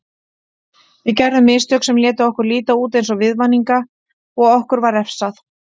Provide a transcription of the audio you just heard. Við gerðum mistök sem létu okkur líta út eins og viðvaninga og okkur var refsað.